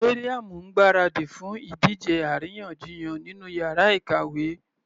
Maryam ń gbáradì fún ìdíje àríyànjiyàn nínú yàrá ìkàwé.